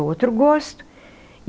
Outro gosto.